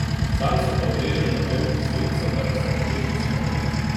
Sam se pa uležem za grm v senco, da bi se nekoliko shladil.